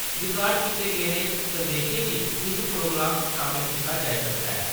Record कीते गेदे किश संदेशें गी इस प्रोग्राम च शामल कीता जाई सकदा ऐ।